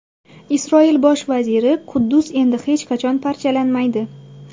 Isroil bosh vaziri: Quddus endi hech qachon parchalanmaydi.